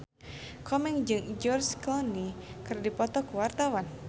Komeng jeung George Clooney keur dipoto ku wartawan